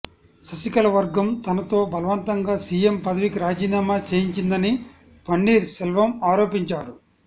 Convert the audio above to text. శశికళ వర్గం తనతో బలవంతంగా సీఎం పదవికి రాజీనామా చేయించిందని పన్నీర్ సెల్వం ఆరోపించారు